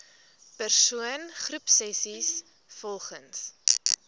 persoon groepsessies volgens